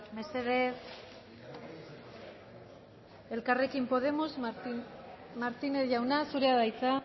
mesedez elkarrekin podemos martínez jauna zurea da hitza